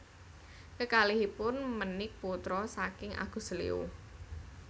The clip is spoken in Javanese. Kekalihipun menik putra saking Agus Leo